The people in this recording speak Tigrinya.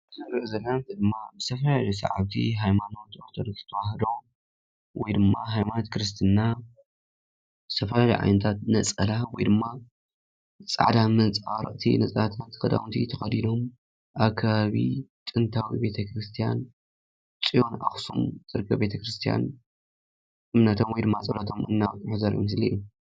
እቲ ንሪኦ ዘለና ድማ ዝተፈላለየ ሰዓብቲ ሃይማኖት ኦርቶዶክስ ተዋህዶ ወይ ድማ ሃይማኖት ክርስትና ዝተፈላለዩ ዓይነታት ብነፀላ ወይ ድማ ፃዕዳ መንፀባረቕቲ ነፀላታት ክዳናት ተኸዲኖም ኣብ ከባቢ ጥንታዊ ቤተ ክርስቲያን ፅዮን ኣኽሱም ዝርከብ ቤተ ክርስቲያን እምነቶም ወይ ድማ ፀሎቶም እናቕረቡ ዘርኢ ምስሊ እዩ፡፡